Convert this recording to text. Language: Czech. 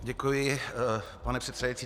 Děkuji, pane předsedající.